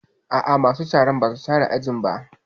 A'a, masu sharan ba su share ajin ba